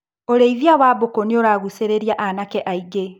ũrĩithia wa mbũkũ nĩũragucĩrĩria anake aingĩ.